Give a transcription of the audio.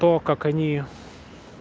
то как они